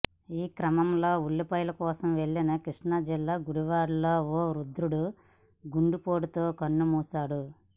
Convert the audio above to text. ఈ క్రమంలో ఉల్లిపాయల కోసం వెళ్లిన కృష్ణా జిల్లా గుడివాడలో ఓ వృద్ధుడు గుండెపోటుతో కన్నుమూశాడు